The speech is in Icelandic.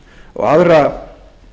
og aðra